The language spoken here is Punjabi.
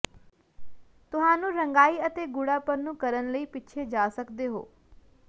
ਤੁਹਾਨੂੰ ਰੰਗਾਈ ਅਤੇ ਗੂਡ਼ਾਪਨ ਨੂੰ ਕਰਨ ਲਈ ਪਿੱਛੇ ਜਾ ਸਕਦੇ ਹੋ